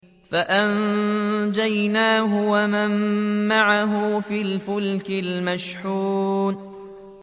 فَأَنجَيْنَاهُ وَمَن مَّعَهُ فِي الْفُلْكِ الْمَشْحُونِ